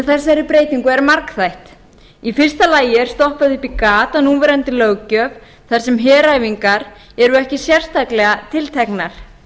þessari breytingu er margþætt í fyrsta lagi er stoppað upp í gat á núverandi löggjöf þar sem heræfingar eru ekki sérstaklega tilteknar